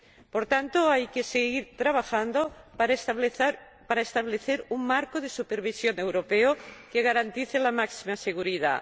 Por eso hay que seguir trabajando para establecer un marco de supervisión europeo que garantice la máxima seguridad.